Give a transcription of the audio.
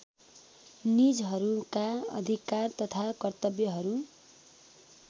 निजहरूका अधिकार तथा कर्तव्यहरू